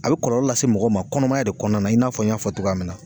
A be kɔlɔlɔ lase mɔgɔ ma kɔnɔmaya de kɔnɔna i n'a fɔ n y'a fɔ cogoya min na